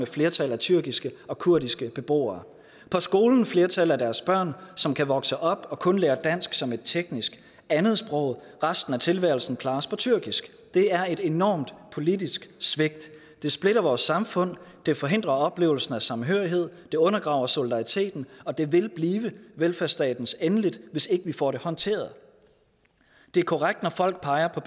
flertal af tyrkiske og kurdiske beboere på skolen et flertal af deres børn som kan vokse op og kun lære dansk som et teknisk andetsprog resten af tilværelsen klares på tyrkisk det er et enormt politisk svigt det splitter vores samfund det forhindrer oplevelsen af samhørighed det undergraver solidariteten og det vil blive velfærdsstatens endeligt hvis ikke vi får det håndteret det er korrekt når folk peger på